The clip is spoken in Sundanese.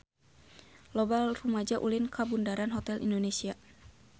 Loba rumaja ulin ka Bundaran Hotel Indonesia